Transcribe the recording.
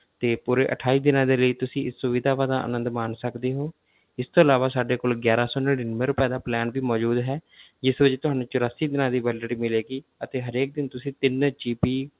ਤੇ ਪੂਰੇ ਅਠਾਈ ਦਿਨਾਂ ਦੇ ਲਈ ਤੁਸੀਂ ਇਸ ਸੁਵਿਧਾਵਾਂ ਦਾ ਅਨੰਦ ਮਾਣ ਸਕਦੇ ਹੋ ਇਸ ਤੋਂ ਇਲਾਵਾ ਸਾਡੇ ਕੋਲ ਗਿਆਰਾਂ ਸੌ ਨੜ੍ਹਿਨਵੇਂ ਰੁਪਏ ਦਾ plan ਵੀ ਮੌਜੂਦ ਹੈ ਜਿਸ ਵਿੱਚ ਤੁਹਾਨੂੰ ਚੁਰਾਸੀ ਦਿਨਾਂ ਦੀ validity ਮਿਲੇਗੀ ਅਤੇ ਹਰੇਕ ਦਿਨ ਤੁਸੀਂ ਤਿੰਨ GB